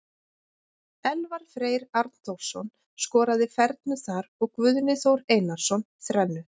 Elvar Freyr Arnþórsson skoraði fernu þar og Guðni Þór Einarsson þrennu.